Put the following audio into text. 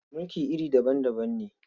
Mulki iri daban-daban ne.